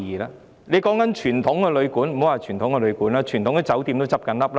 莫說傳統旅館，連傳統的酒店亦在倒閉。